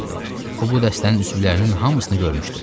O bu dəstənin üzvlərinin hamısını görmüşdü.